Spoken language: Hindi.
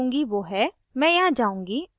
अतः जो मैं करुँगी so है